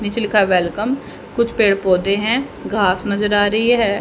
नीचे लिखा है वेलकम कुछ पेड़ पौधे हैं घास नज़र आ रही है।